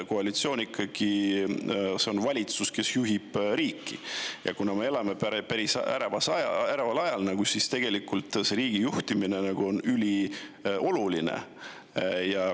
Koalitsioon on ikkagi valitsus, kes juhib riiki, ja kuna me elame päris äreval ajal, siis riigi juhtimine on ülioluline.